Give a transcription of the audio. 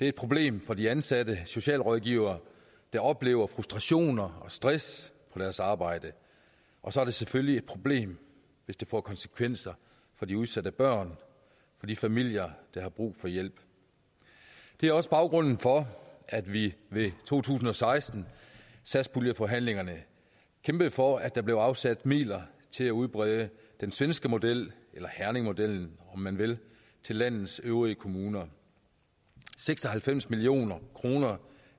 et problem for de ansatte socialrådgivere der oplever frustrationer og stress på deres arbejde og så er det selvfølgelig et problem hvis det får konsekvenser for de udsatte børn og de familier der har brug for hjælp det er også baggrunden for at vi ved to tusind og seksten satspuljeforhandlingerne kæmpede for at der blev afsat midler til at udbrede den svenske model eller herningmodellen om man vil til landets øvrige kommuner seks og halvfems million kroner